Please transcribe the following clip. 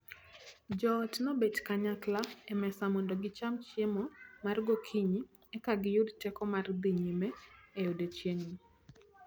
Joot nobet kanyakla e mesa mondo gicham chiemo mar gokinyi e ka giyud teko mar dhi nyime e odiechieng' no.